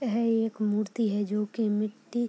है एक मूर्ति है जो की मिट्टी --